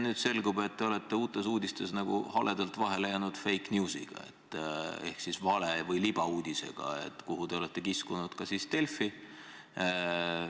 Nüüd selgub, et te olete Uutes Uudistes haledalt vahel jäänud fake news'iga ehk siis vale- või libauudisega, kuhu te olete kiskunud ka Delfi.